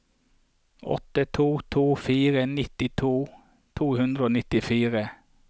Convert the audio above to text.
åtte to to fire nitti to hundre og nittifire